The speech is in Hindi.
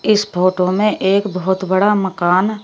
इस फोटो में एक बहोत बड़ा मकान--